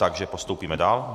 Takže postoupíme dál.